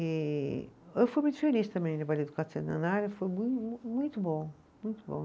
E eu fui muito feliz também no, foi muito bom, muito bom.